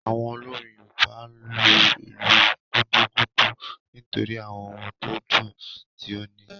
Awon olorin yoruba n lo ilu “gudugudu” nitori àwon ohùn to dùn ti o níí.